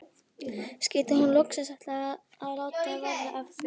Skyldi hún loksins ætla að láta verða af því?